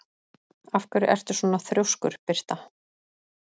Af hverju ertu svona þrjóskur, Birta?